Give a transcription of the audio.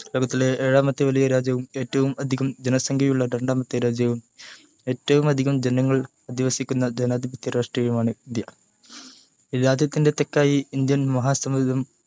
ലോകത്തിലെ ഏഴാമത്തെ വലിയ രാജ്യവും ഏറ്റവും അധികം ജനസംഖ്യയുള്ള രണ്ടാമത്തെ രാജ്യവും എറ്റവുമധികം ജനങ്ങൾ അധിവസിക്കുന്ന ജനാധിപത്യ രാഷ്ട്രവുമാണ് ഇന്ത്യ രാജ്യത്തിൻ്റെ തെക്കായി ഇന്ത്യൻ മഹാസമുദ്രം